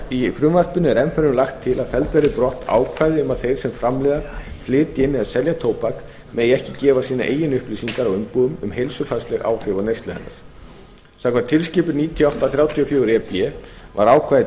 í frumvarpinu er enn fremur lagt til að felld verði brott ákvæði um að þeir sem framleiða flytja inn eða selja tóbak megi ekki gefa sínar eigin upplýsingar á umbúðum um heilsufarsleg áhrif af neyslu hennar samkvæmt tilskipun níutíu og átta þrjátíu og fjögur e b var ákvæðið